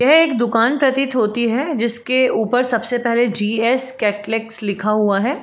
यह एक दुकान प्रतीत होती है जिसके ऊपर सबसे पहले जी एक्स कटलेक्स लिखा हुआ है।